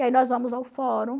E aí nós vamos ao fórum,